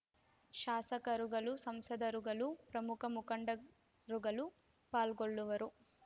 ಶಾಸಕರುಗಳು ಸಂಸದರುಗಳು ಪ್ರಮುಖ ಮುಖಂಡರುಗಳು ಪಾಲ್ಗೊಳ್ಳುವರು